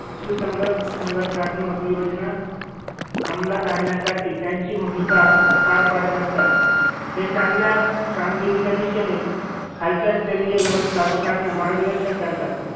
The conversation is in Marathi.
सुसंगत संघटनात्मक योजना अमलात आणण्यासाठी त्यांची भूमिका पार पाडत असतात. हे चांगल्या कामगिरीच्या दिशेने खालच्या स्तरीय व्यवस्थापकांना मार्गदर्शन करतात.